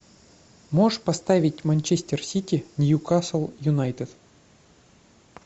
можешь поставить манчестер сити ньюкасл юнайтед